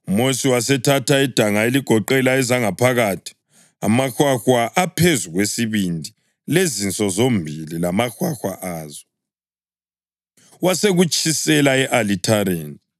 UMosi wasethatha idanga eligoqela ezangaphakathi, amahwahwa aphezu kwesibindi, lezinso zombili lamahwahwa azo, wasekutshisela e-alithareni.